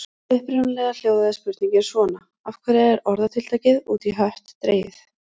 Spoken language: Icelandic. Upprunalega hljóðaði spurningin svona: Af hverju er orðatiltækið út í hött dregið?